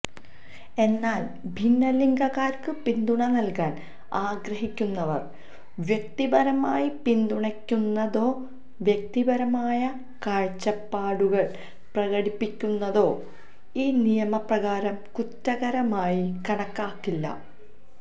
എന്നാല് ഭിന്നലിംഗക്കാര്ക്ക് പിന്തുണ നല്കാന് ആഗ്രഹിക്കുന്നവര് വ്യക്തിപരമായി പിന്തുണയ്ക്കുന്നതോ വ്യക്തിപരമായ കാഴ്ചപ്പാടുകള് പ്രകടിപ്പിക്കുന്നതോ ഈ നിയമപ്രകാരം കുറ്റകരമായി കണാക്കാക്കില്ല